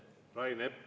Rain Epler …